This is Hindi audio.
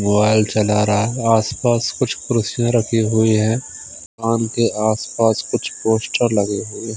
मोबाइल चला रहा है आस-पास कुछ कुर्सियाँ रखी हुई है दुकान के आस-पास कुछ पोस्टर लगे हुए--